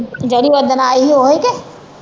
ਜਿਹੜੀ ਓਦਣ ਆਈ ਹੀ ਓਹੀ ਕੇ